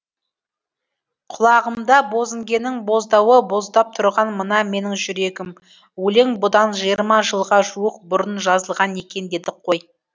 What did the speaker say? құлағымда бозінгеннің боздауы боздап тұрған мына менің жүрегім өлең бұдан жиырма жылға жуық бұрын жазылған екен дедік қой